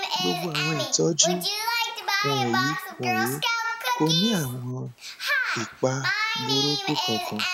gbogbo awọn itọju wọnyi wọnyi ko ni awọn ipa buruku kan kan